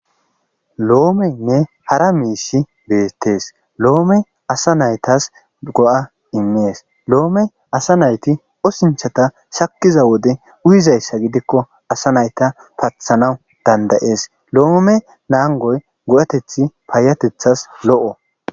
loomenne hara miishi beettees loome asa naytas go7a immees lo7ome asa nayti osinchata shakkiza wode uyizayssa gidikko asa nayta pathanaw dandayees loome naangoy go7ateth paayatethas lo7o